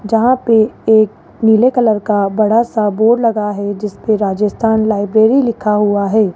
जहां पे एक नीले कलर का बड़ा सा बोर्ड लगा है जिसपे राजस्थान लाइब्रेरी लिखा हुआ है।